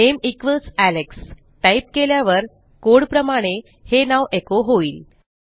नामे equals Alex type केल्यावरcode प्रमाणे हे नाव एचो होईल